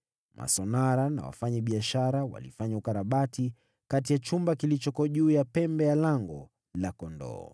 Masonara na wafanyabiashara walifanya ukarabati kutoka chumba kilichoko juu ya pembe hadi Lango la Kondoo.